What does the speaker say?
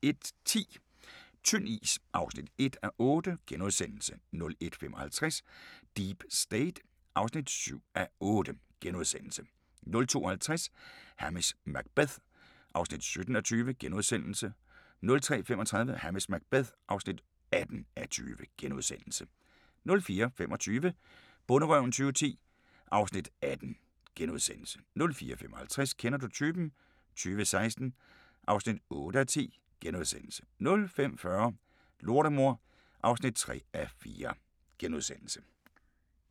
01:10: Tynd is (1:8)* 01:55: Deep State (7:8)* 02:50: Hamish Macbeth (17:20)* 03:35: Hamish Macbeth (18:20)* 04:25: Bonderøven 2010 (Afs. 18)* 04:55: Kender du typen? 2016 (8:10)* 05:40: Lortemor (3:4)*